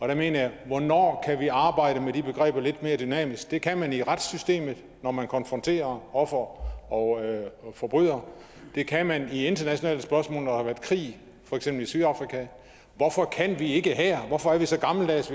der mener jeg hvornår kan vi arbejde med de begreber lidt mere dynamisk det kan man i retssystemet når man konfronterer offer og forbryder det kan man i internationale spørgsmål når der har været krig for eksempel i sydafrika hvorfor kan vi ikke her hvorfor er vi så gammeldags